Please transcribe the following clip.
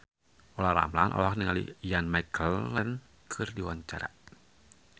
Olla Ramlan olohok ningali Ian McKellen keur diwawancara